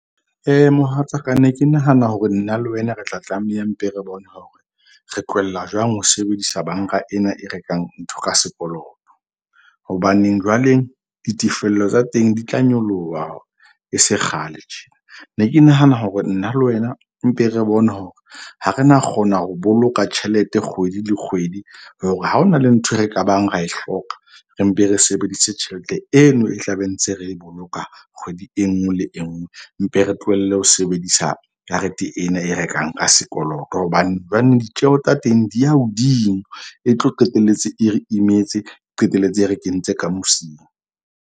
Mohatsaka ne ke nahana hore nna le wena re tla tlameha mpe, re bone hore re tlohella jwang ho sebedisa banka ena e rekang ntho ka sekoloto. Hobaneng jwaleng ditefello tsa teng di tla nyoloha e se kgale tjena. Ne ke nahana hore nna le wena mpe re bone hore ha re na kgona ho boloka tjhelete kgwedi le kgwedi, hore ha ho na le ntho e re kabang re a e hloka re mpe, re sebedise tjhelete eno e tla be ntse re e boloka kgwedi e nngwe le e nngwe. Mpe re tlohelle ho sebedisa karete ena e rekang ka sekoloto. Hobane jwanong ditjeho tsa teng di ya hodimo, e tlo qetelletse, e re imetse qetelletse e re kentse ka mosing.